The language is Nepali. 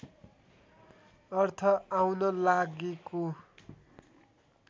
अर्थ आउन लागेको